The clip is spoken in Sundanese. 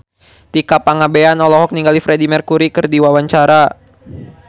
Tika Pangabean olohok ningali Freedie Mercury keur diwawancara